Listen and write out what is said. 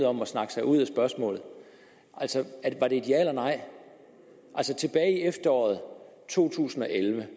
om at snakke sig ud af spørgsmålet var det et ja eller nej altså tilbage i efteråret to tusind og elleve